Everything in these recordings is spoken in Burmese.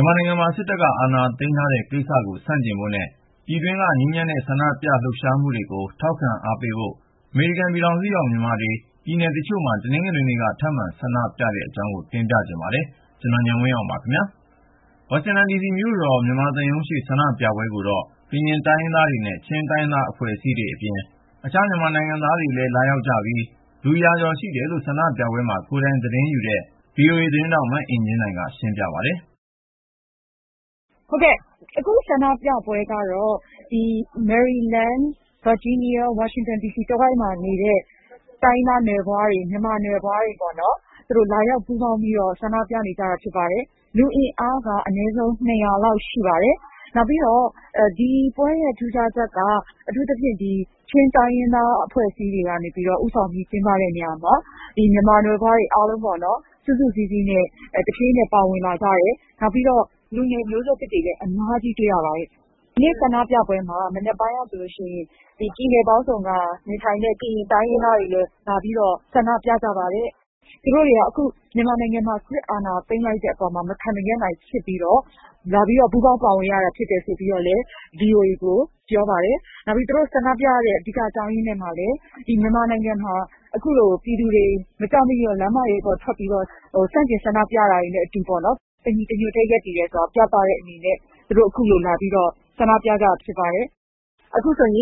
မြန်မာနိုင်ငံမှာ စစ်တပ်က အာဏာသိမ်းထားတဲ့ကိစ္စကို ဆန့်ကျင်ဖို့နဲ့ ပြည်တွင်းက ငြိမ်းချမ်းတဲ့ ဆန္ဒပြလှုပ်ရှားမှုတွေကို ထောက်ခံအားပေးဖို့ အမေရိကန်ပြည်ထောင်စုရောက် မြန်မာတွေ ပြည်နယ်တချို့မှာ တနင်္ဂနွေနေ့က ထပ်မံ ဆန္ဒပြကြတဲ့အကြောင်း ကိုဉာဏ်ဝင်းအောင် စုစည်းတင်ပြ ထားပါတယ်။ ဝါရှင်တန်ဒီစီမြို့တော် မြန်မာစစ်သံရုံးရှေ့ ဆန္ဒပြပွဲကိုတော့ ကရင်တိုင်းရင်းသားတွေနဲ့ ချင်းတိုင်းရင်းသားအဖွဲ့အစည်းတွေအပြင် အခြားမြန်မာနိုင်ငံသားတွေလည်း လာရောက်ကြပြီး လူရာကျော် ရှိတယ်လို့ ဆန္ဒပြပွဲမှာ ကိုယ်တိုင်သတင်းယူနေတဲ့ VOA သတင်းထောက် မအင်ကြင်းနိုင်က ရှင်းပြပါတယ်။ " ဟုတ်ကဲ့ အခုဆန္ဒပြပွဲကတော့ မေရီလန်း ဗာဂျီးနီးယား ဝါရှင်တန်ဒီစီ တဝိုက်မှာနေတဲ့ တိုင်းရင်းသားနွယ်ဖွားတွေ မြန်မာနွယ်ဖွားတွေ လာရောက်ပူးပေါင်း ဆန္ဒပြနေကြတာ ဖြစ်ပါတယ်။ လူအင်အား အနည်းဆုံး၂၀၀ လောက် ရှိပါတယ်။ နောက်ပြီးတော့ ဒီပွဲရဲ့ ထူးခြားချက်က အထူးသဖြင့် ချင်းတိုင်းရင်းသားတွေကနေ ဦးဆောင်ပြီးကျင်းပတဲ့ နေရာမှာ မြန်မာနွယ်ဖွားတွေကလည်း စုစုစည်းစည်းနဲ့ ပါဝင်လာကြတယ်။ နောက်ပြီး လူငယ်မျိုးဆက်သစ်တွေလည်း အများကြီး တွေ့ရပါတယ်။ ဒီနေ့ဆန္ဒပြပွဲမှာ မနက်ပိုင်းကဆိုရင် ပြည်နယ်ပေါင်းစုံကလာတဲ့ ကရင်တိုင်းရင်းသားတွေလည်း ဒီမှာ ဆန္ဒပြကြပါတယ်။ မြန်မာနိုင်ငံမှာ စစ်အာဏာ သိမ်းလိုက်တဲ့အပေါ် သူတို့ မခံမရပ်နိုင်ဖြစ်လို့ ပူးပေါင်းပါဝင်တာဖြစ်တယ်ဆိုပြီး VOA ကို ပြောပါတယ်။ သူတို့ပြောတဲ့အထဲမှာ လက်ရှိ မြန်မာနိုင်ငံက လမ်းမတွေပေါ် မကြောက်မရွံ့ ဆန့်ကျင်ဆန္ဒပြတာတွေနဲ့ အတူပေါ့နော် တညီတညွတ်ထဲရှိတယ်ဆိုတာ ပြသတဲ့အနေနဲ့ သူတို့ခုလိုလာပြီး ဆန္ဒပြကြတာ ဖြစ်ပါတယ်။ " " အခု ဒီဆန္ဒ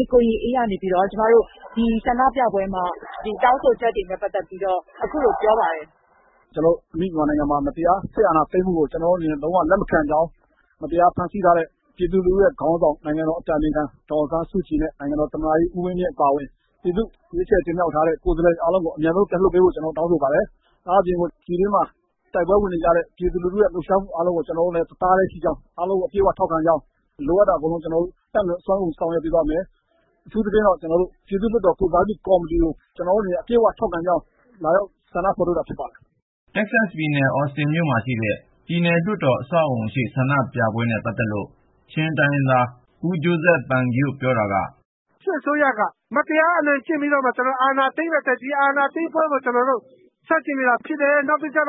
ပြပွဲမှာပါတဲ့ မေရီလန်းပြည်နယ်က ကိုရင်အေးက ဆန္ဒပြပွဲအတွင်း သူတို့ တောင်းဆိုချက်တွေကို ခုလို ပြောပါတယ်။ " " မြန်မာနိုင်ငံမှာ မတရား စစ်အာဏာသိမ်းမှုကို ကျနော်တို့ အနေနဲ့ လုံးဝ လက်မခံကြောင်း ၊ မတရား ဖမ်းဆီးထားတဲ့ ပြည်သူ့ခေါင်းဆောင် ဒေါ်အောင်ဆန်းစုကြည်နဲ့ သမ္မတကြီး ဦးဝင်းမြင့်အပါအဝင် ပြည်သူ့ ကိုယ်စားလှယ်တွေအားလုံး အမြန်ဆုံးပြန်လွှတ်ပေးဖို့ ကျနော်တို့ တောင်းဆိုပါတယ်။ ဒါ့အပြင် ပြည်တွင်းမှာ တိုက်ပွဲဝင်နေကြတဲ့ ပြည်သူလူထုရဲ့ လှုပ်ရှားမှုအားလုံးနဲ့ ကျနော်တို့ တသားတည်းရှိကြောင်း၊ အားလုံးကို အပြည့်ဝ ထောက်ခံကြောင်း ၊ လိုအပ်တာကို တတ်နိုင်သမျှ အစွမ်းကုန် ကျနော်တို့ဆောင်ရွက်သ ွားမယ်။ အထူးသဖြင့်တော့ ပြည်သူ့လွှတ်တော် ကိုယ်စားပြုကော်မတီကို ကျနော်တို့ အပြည့်အဝ ထောက်ခံကြောင်း လာရောက်ဆန္ဒဖေါ်ထုတ်တာ ဖြစ်ပါတယ်။ " တက္ကဆက်ပြည်နယ် အော်စတင်မြို့မှာရှိတဲ့ ပြည်နယ်လွှတ်တော် အဆောက်အဦရှေ့ ဆန္ဒပြပွဲနဲ့ ပတ်သက်လို့ ချင်းတိုင်းရင်းသား ဂျိုးဇက် ပန်ဂယို့ ပြောတာက - " စစ်အစိုးရက မတရား အနိုင်ကျင့်ပြီးတော့မှ အာဏာသိမ်းလိုက်တာကို ကျနော်တို့ ဆန့်ကျင်နေတာဖြစ်တယ်။ နောက်ပြီး ဒီ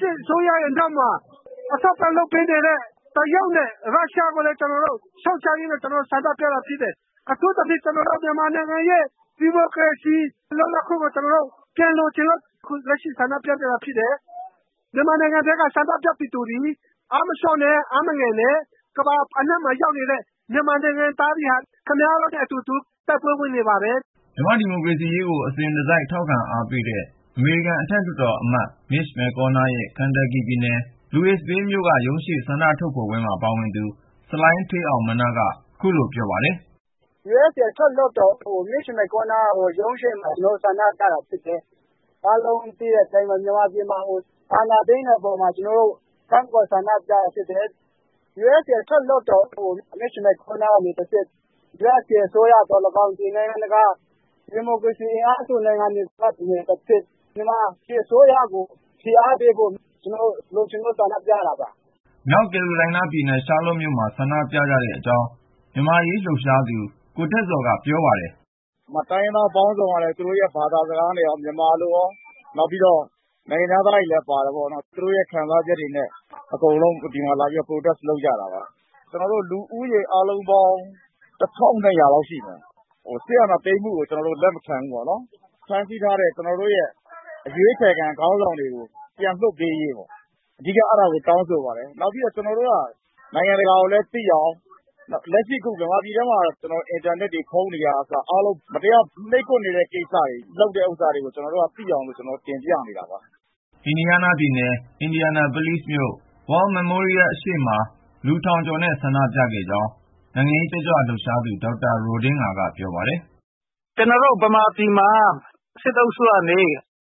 စစ်အစိုးရရဲ့ နောက်မှာ အထောက်အပံ့ လုပ်ပေးနေတဲ့ တရုတ်နဲ့ ရုရှားကိုလည်း ကျနော်တို့ ရှုတ်ချရင်းဆန္ဒပြတာဖြစ်တယ်။ အထူးသဖြင့် ကျနော်တို့ မြန်မာနိုင်ငံရဲ့ ဒီမိုကရေစီ လွတ်လပ်ခွင့်ကို ကျနော်တို့ ပြန်လိုချင်လို့ ခုလို ဆန္ဒပြကြတာဖြစ်ပါတယ်။ မြန်မာနိုင်ငံထဲက ဆန္ဒပြပြည်သူတွေ အားမလျော့နဲ့ အားမငယ်ပါနဲ့.. ကမ္ဘာအနံှ့မှာ ရောက်နေတဲ့ မြန်မာနိုင်ငံသားတွေဟာ ခင်ဗျားတို့နဲ့အတူတူ တိုက်ပွဲဝင်နေပါတယ်။ " မြန်မာ့ ဒီမိုကရေစီရေးကို အစဉ်တစိုက် ထောက်ခံအားပေးတဲ့ အမေရိကန် အထက်လွှတ်တော်အမတ် Mitch McConnell ရဲ့ ကန်တပ်ကီပြည်နယ် Louisville မြို့က ရုံးရှေ့ ဆန္ဒထုတ်ဖေါ်ပွဲမှာ ပါဝင်သူ ဆလိုင်းဌေးအောင်မနာ့ က ခုလိုပြောပါတယ်။ " ယူအက်စ် အထက်လွှတ်တော်အမတ် မစ်ရှ်-မက်ကောနားရဲ့ ရုံးရှေ့မှာ ကျနော်တို့ ဆန္ဒပြတာ ဖြစ်တယ်။ မြန်မာပြည်မှာ အာဏာသိမ်းတာကို ကန့်ကွက်ဆန္ဒပြတာဖြစ်တယ်။ လွှတ်တော်အမတ် မစ်ရှ်-မက်ကောနား ကနေတဆင့် အမေရိကန်အစိုးရသော်၎င်း ဒီနိုင်ငံတကာ ဒီမိုကရေစီ အင်အားစု နိုင်ငံတွေကနေတဆင့် မြန်မာစစ်အစိုးရကို ဖိအားပေးရေး လိုချင်လို့ ဆန္ဒပြရတာပါ။ " မြောက်ကယ်လိုရိုင်းနားပြည်နယ် ရှားလေ့ာမြို့ မြို့တော်ခမ်းမရှေ့မှာ ဆန္ဒပြနေကြတဲ့အကြောင်းကိုတော့ မြန်မာ့အရေးလှုပ်ရှားသူ ကိုထက်ဇော်က ပြောပြပါတယ်။ " ဒီက တိုင်းရင်းသားပေါင်းစုံကလည်း သူတို့ရဲ့ဘာသာစကားနဲ့ရော ဗမာလိုရော နောက်ပြီးတော့ နိုင်ငံခြားသားတွေလည်း ပါတယ်ပေါ့နော်။ သူတို့ရဲ့ခံစားချက်တွေနဲ့ အကုန်လုံး ဒီမှာလာပြီး ဆန္ဒပြကြတာပါ။ လူဦးရေ အားလုံးပေါင်း ၁,၂၀၀ လောက်ရှိမယ်။ စစ်အာဏာသိမ်းမှုကို ကျနော်တို့ လက်မခံဘူး။ ဖမ်းဆီးထားတဲ့ ကျနော်တို့ရဲ့ အရွေးချယ်ခံ ခေါင်းဆောင်တွေကို ပြန်လလွှတ်ပေးရေး အဓိက တောင်းဆိုပါတယ်။ နောက်ပြီး မြန်မာပြည်ထဲမှာ အင်တာနက်ရော ဖုန်းတွေကအစ မတရား နှိပ်ကွပ် ပိတ်ပင်ခံနေရတဲ့ကိစ္စကို နိုင်ငံတကာကလည်း သိအောင်လို့ တင်ပြနေတာပါ။ " အင်ဒီယားနားပြည်နယ် အင်ဒီယာနာပုလိဇ်မြို့ World Memorial အရှေ့မှာ လူထောင်ကျော်နဲ့ ဆန္ဒပြခဲ့ကြောင်း နိုင်ငံရေးတက်ကြွ လှုပ်ရှားသူ ဒေါက်တာ ရိုဒင်းငါက ပြောပါတယ်။ " စစ်အုပ်စု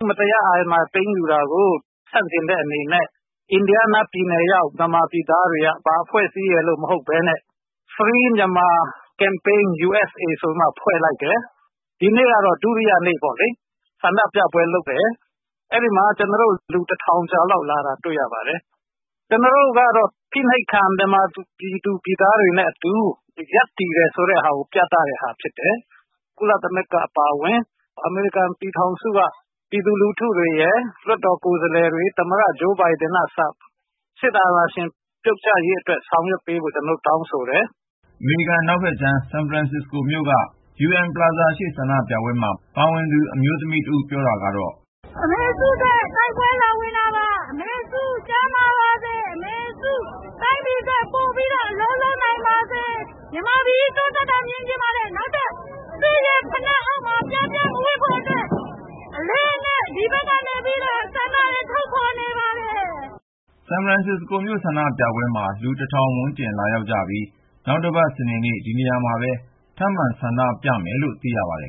က မတရား အာဏာသိမ်းယူတာကို ဆန့်ကျင်တဲ့အနေနဲ့ အင်ဒီယားနားပြည်နယ်ရေဂာက် မြန်မာပြည်သားတွေက ဘာအဖဲ့ွအစည်းရယ်လို့ မဟုတ်ပဲနဲ့ Free Myanmar Campaign USA ဆိုပြီးမှ ဖွဲ့လိုက်တယ်။ ဒီနေ့က ဒုတိယမြောက် ဆန္ဒပြပွဲလုပ်တာပါ။ လူ(၁,၀၀၀)ကျော်လောက် လာတာ တွေ့ရပါတယ်။ ကျနော်တို့က ဖိနှိပ်ခံ မြန်မာ ပြည်သူပြည်သားတွေနဲ့အတူ ရပ်တည်နေတယ်ဆိုတာကို ပြသတယ်။ ကုလသမဂ္ဂ အပါအဝင် အမေရိကန်ပြည်ထောင်စုက ပြည်သူလူထုရယ်၊ လွှတ်တော်ကိုယ်စားလှယ်တွေရယ် သမ္မတ ဂျိုးဘိုင်ဒန်ကအစ စစ်အာဏာရှင် ပြုတ်ကျရေးအတွက် ဆောင်ရွက်ပေးဖို့ ကျနော်တို့ တောင်းဆိုတယ်။ " အမေရိကန် အနောက်ဖက်ခြမ်း ဆန်ဖရန်စစ္စကိုမြို့က ကုလသမဂ္ဂ UN Plaza ရှေ့ ဆန္ဒပြပွဲမှာ ပါဝင်သူ အမျိုးသမီးတဦး ပြောတာက - " အမေစုအတွက် တိုက်ပွဲလာဝင်တာပါ။ အမေစု ကျန်းမာပြီး တိုင်းပြည်အတွက် ပိုပြီးတော့ အလုပ်လုပ်နိုင်ပါစေ။ မြန်မာပြည်ကြီး တိုးတက်တာ မြင်ချင်ပါတယ် နောက်ထပ် စစ်ဖိနပ်အောက်မှာ ပြားပြားမဝပ်ဖို့အတွက် ဒီမှာ အလေးအနက်ထား ဆန္ဒထုတ်ဖေါ် နေပါတယ်။ " ဆန်ဖရန်မြို့ ဆန္ဒပြပွဲမှာ လူ(၁,၀၀၀)ဝန်းကျင် လာရောက်ကြပြီး နောက်တပတ် စနေနေ့ ဒီနေရာမှာပဲ ထပ်မံ ဆန္ဒပြကြဖို့ရှိတယ်လို့ သိရပါတယ်